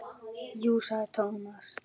Jú sagði Thomas.